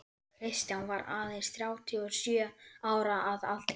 Kristján var aðeins þrjátíu og sjö ára að aldri.